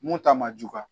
Mun ta ma juguya